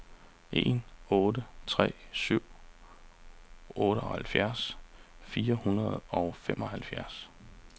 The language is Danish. en otte tre syv otteoghalvfjerds fire hundrede og femoghalvfjerds